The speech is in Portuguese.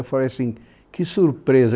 Eu falei assim, que surpresa.